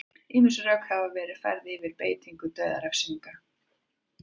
ýmis rök hafa verið færð fyrir beitingu dauðarefsinga